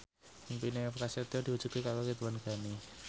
impine Prasetyo diwujudke karo Ridwan Ghani